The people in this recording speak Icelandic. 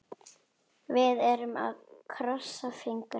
Við erum að krossa fingur.